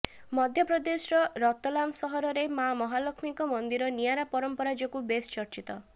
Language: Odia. ମଧ୍ୟପ୍ରଦେଶର ରତଲାମ ସହରରେ ମାଆ ମହାଲକ୍ଷ୍ମୀଙ୍କ ମନ୍ଦିର ନିଆରା ପରାମ୍ପରା ଯୋଗୁ ବେଶ୍ ଚର୍ଚ୍ଚିତ